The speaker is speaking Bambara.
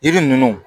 Yiri ninnu